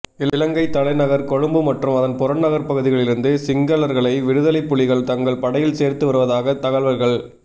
இலங்கைத்தலைநகர் கொழும்பு மற்றும் அதன் புறநகர்ப்பகுதிகளிலிருந்து சிங்களர்களை விடுதலைப்புலிகள் தங்கள் படையில் சேர்த்து வருவதாக தகவல்கள்